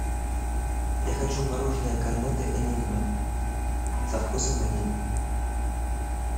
я хочу мороженое корнетто энигма со вкусом ванили